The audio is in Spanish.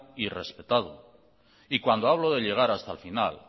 y respetado y cuando hablo de llegar hasta el final